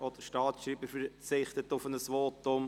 Auch der Staatsschreiber verzichtet auf ein Votum.